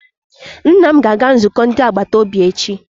Nna m ga-aga nzukọ ndi agbataobi echi.